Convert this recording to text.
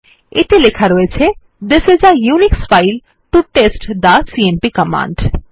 এতে লেখা রয়েছে this is a Unix file to test the CMP command